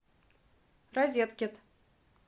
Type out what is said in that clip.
розеткед